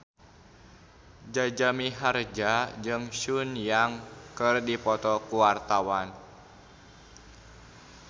Jaja Mihardja jeung Sun Yang keur dipoto ku wartawan